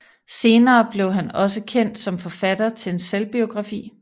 Senere blev han også kendt som forfatter til en selvbiografi